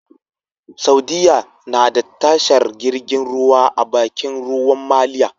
Saudiya nada tashar jirgin ruwa a Bakin ruwan maliya